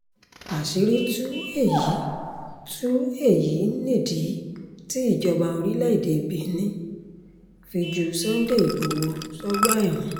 àṣírí tú èyí tú èyí nìdí tí ìjọba orílẹ̀‐èdè benin fi ju sunday ighòhò sọ́gbà ẹ̀wọ̀n